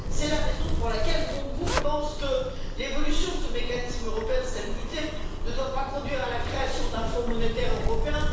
C'est la raison pour laquelle mon groupe pense que l'évolution de ce mécanisme européen de stabilité ne doit pas conduire à la création d'un Fonds monétaire européen.